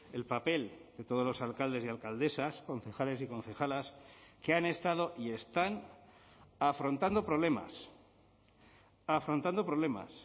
el papel de todos los alcaldes y alcaldesas concejales y concejalas que han estado y están afrontando problemas afrontando problemas